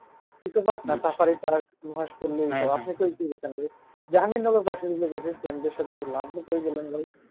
eco park safari park